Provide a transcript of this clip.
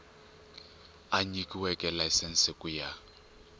a nyikiweke layisense ku ya